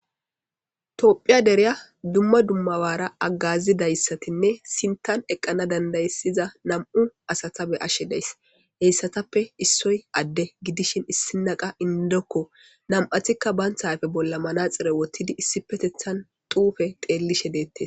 Tophphiya deere dumma dumma oggera agazidayssanne sinththan eqqana dandaiza nam'u asata be'ashshe dayis izettappe issoy ade giddishin issoy indoko nam'attika bantta ayfe bolla manaxire woththidi issippeteththan xuufe xellishe de'etess.